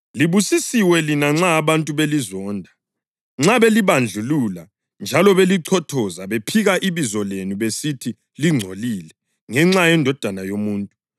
Libusisiwe lina nxa abantu belizonda, nxa belibandlulula njalo belichothoza, bephika ibizo lenu besithi lingcolile, ngenxa yeNdodana yoMuntu.